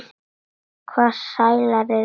Hvaða stælar eru í þér?